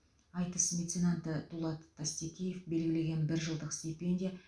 айтыс меценаты дулат тастекеев белгілеген бір жылдық стипендия